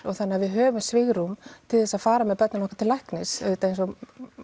þannig að við höfum svigrúm til þess að fara með börnin okkar til læknis auðvitað eins og